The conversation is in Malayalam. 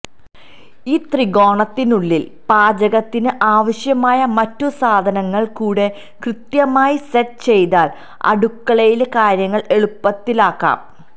ഈ ത്രികോണത്തിനുള്ളില് പാചകത്തിന് ആവശ്യമായ മറ്റു സാധനങ്ങള് കൂടെ കൃത്യമായി സെറ്റ് ചെയ്താല് അടുക്കളയിലെ കാര്യങ്ങള് എളുപ്പത്തിലാക്കാം